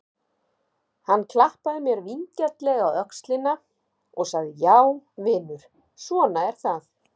Hann klappaði mér vingjarnlega á öxlina og sagði: Já vinur, svona er það.